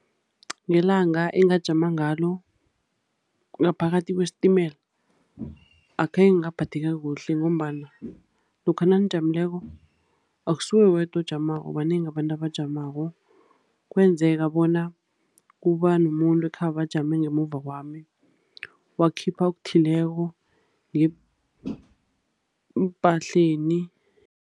Ngelanga engajama ngalo ngaphakathi kwesitimela, akhange ngaphatheka kuhle ngombana lokha nanijamileko, akusuwe wedwa ojamako, banengi abantu abajamako. Kwenzeka bona kuba nomuntu ekhabe ajame ngemuva kwami, wakhipha okuthileko ngeempahleni.